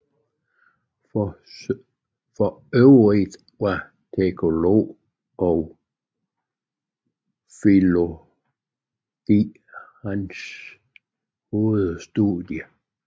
For øvrigt var teologi og filologi hans hovedstudier